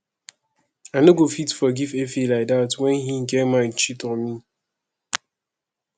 i no go fit forgive efe like dat wen he get mind cheat on me